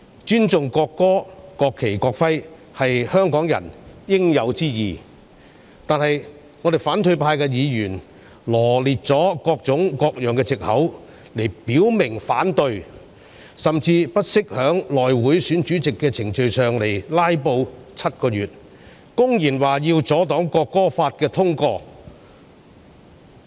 尊重國歌、國旗及國徽是香港人應有之義，但是，反對派議員羅列了各種各樣的藉口來表明反對，甚至不惜在內務委員會選舉主席的程序上"拉布 "7 個月，公然表示要阻擋《條例草案》通過。